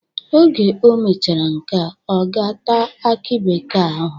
Oge o mechara nke a, ọ ga-ata akị bekee ahụ.